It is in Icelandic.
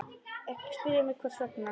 Ekki spyrja mig hvers vegna.